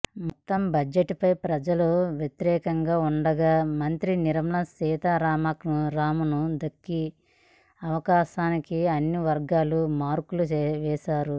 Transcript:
మొత్తం బడ్జెట్పై ప్రజలు వ్యతిరేకంగా ఉండగా మంత్రి నిర్మలా సీతారామన్కు దక్కిన అవకాశానికి అన్ని వర్గాలు మార్కులు వేశారు